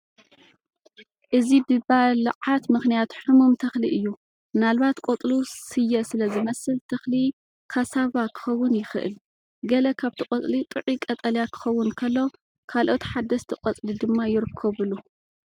እዚ ብባልዓት ምኽንያት ሕሙም ተኽሊ እዩ። ምናልባት ቆጽሉ ስየ ስለ ዝመስል ተኽሊ ካሳቫ ክኸውን ይኽእል። ገለ ካብቲ ቆጽሊ ጥዑይ ቀጠልያ ክኸውን ከሎ፡ ካልኦት ሓደስቲ ቆጽሊ ድማ ይርከቡሉ፡፡